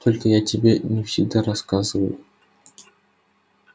только я тебе не всегда рассказываю